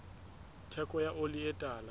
theko ya oli e tala